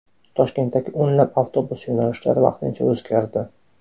Toshkentdagi o‘nlab avtobus yo‘nalishlari vaqtincha o‘zgardi.